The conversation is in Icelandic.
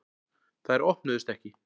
Þær opnuðust ekki.